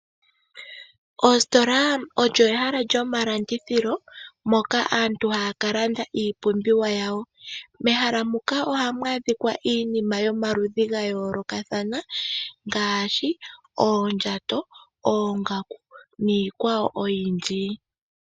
Oositola olyo ehala lyomalandithilo moka aantu haya kalanda iipumbiwa yawo. Mehala muka ohamu adhika iinima yomaludhi gayoolokathana ngaashi oondjato, oongaku niikwawo oyindji.